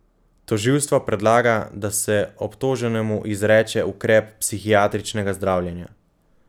Tožilstvo predlaga, da se obtoženemu izreče ukrep psihiatričnega zdravljenja.